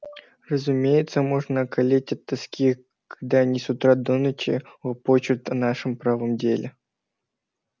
разумеется можно околеть от тоски когда они с утра до ночи лопочут о нашем правом деле